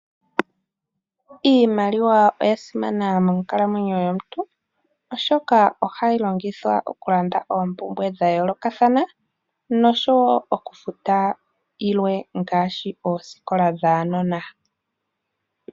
Iimaliwa oyasimana monkalamwenyo yomuntu oshoka ohayi longithwa okulanda oompumbwe dhayooloka nosho wo okufuta yilwe ngaashi oosikola dhaanona.